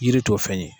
Yiri t'o fɛn ye